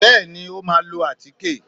Bẹ́ẹ̀ni o máà lọ atike.